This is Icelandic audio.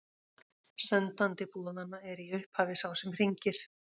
Sendandi boðanna er í upphafi sá sem hringir.